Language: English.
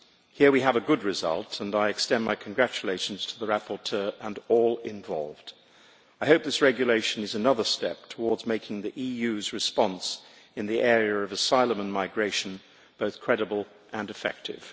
Here we have a good result, and I extend my congratulations to the rapporteur and all involved. I hope this regulation is another step towards making the EU's response in the area of asylum and migration both credible and effective.